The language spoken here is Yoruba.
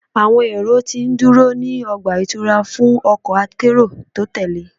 Awọn ero ti nduro ni ọgba-itura fun ọkọ akero ti o tẹle